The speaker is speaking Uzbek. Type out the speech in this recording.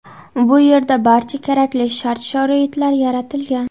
Bu yerda barcha kerakli shart-sharoitlar yaratilgan.